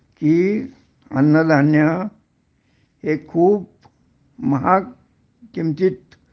कि अन्नधान्य हे खूप महाग किमतीत